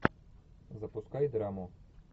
запускай драму